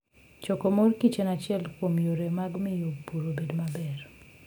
Choko mor kich en achiel kuom yore mag miyo pur obed maber.